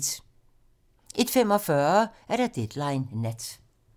01:45: Deadline nat